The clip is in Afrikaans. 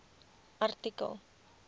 artikel